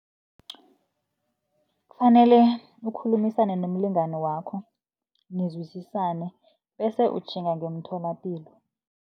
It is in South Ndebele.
Kufanele ukhulumisane nomlingani wakho, nizwisisane bese utjhinga ngemtholapilo.